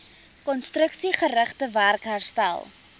konstruksiegerigte werk herstel